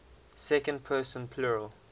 second person plural